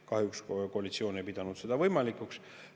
Kahjuks koalitsioon ei pidanud seda võimalikuks.